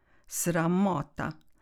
Sramota!